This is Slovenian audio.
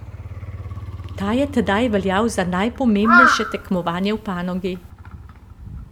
Ta je tedaj veljal za najpomembnejše tekmovanje v panogi.